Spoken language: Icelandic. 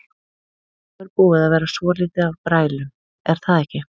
Nú er búið að vera svolítið af brælum er það ekki?